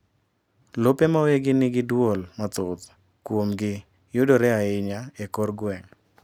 lope ma weggi nigi duol mathoth kuomgi yudore ainya ekor gwenge